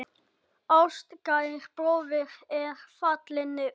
Ástkær bróðir er fallinn frá.